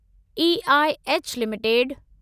EIH limited